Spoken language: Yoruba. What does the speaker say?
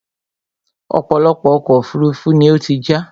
ọ̀pọ̀lọpọ̀ ọkọ̀ òfurufú ni ó ti já